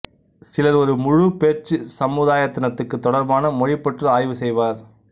சிலர் ஒரு முழு பேச்சுச் சமுதாயத்தினதுக்குத் தொடர்பான மொழிபற்றி ஆய்வு செய்வர்